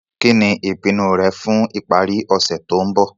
Kí ní ìpinu rẹ fun ìparí ọ̀sẹ̀ to n bo